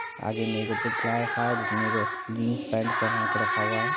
आगे में एक पुतला रखा है जिसमें एगो जीन्स पैंट पेहना के रखा हुआ है।